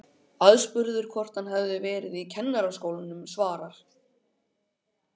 Aðspurður hvort hann hafi verið í Kennaraskólanum svarar